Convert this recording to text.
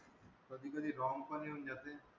कधी कधी wrong पण येऊन जाते.